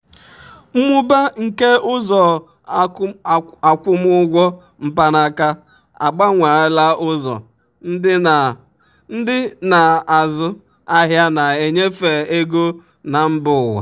mmụba nke ụzọ akwụmụgwọ mkpanaka agbanweela ụzọ um ndị na-azụ um ahịa na-enyefe ego um na mba ụwa.